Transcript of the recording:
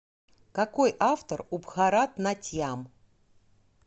какой автор у бхаратнатьям